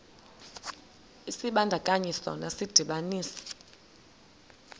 isibandakanyi sona sidibanisa